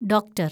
doctor‍